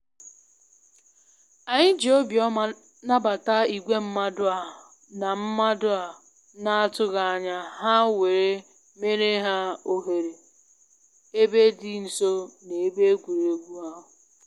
Anyị ji obiọma nabata igwe mmadụ a na mmadụ a na atụghị anya ha were meere ha ohere ebe dị nso na ebe egwuregwu ahụ